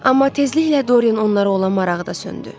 Amma tezliklə Dorian onlara olan marağı da söndü.